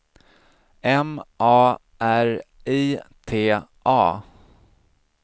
M A R I T A